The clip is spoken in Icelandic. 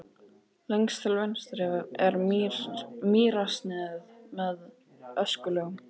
Lengst til vinstri er mýrarsniðið með öskulögum.